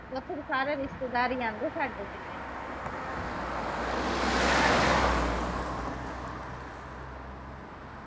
ਉੱਥੇ ਤਾ ਸਾਰੇ ਰਿਸਤੇਦਾਰ ਈ ਆਉਂਦੇ ਸਾਡੇ ਜਿੰਨੇ ਵੀ